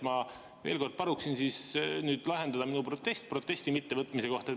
Ma veel kord palun nüüd lahendada minu protest protesti mittevõtmise kohta.